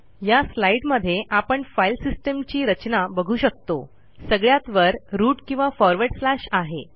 या स्लाईडमध्ये आपण फाईल सिस्टीमची रचना बघू शकतोसगळ्यात वर रूट किंवा फॉरवर्ड स्लॅश आहे